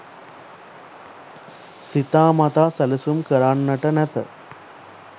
සිතා මතා සැලසුම් කරන්නට නැත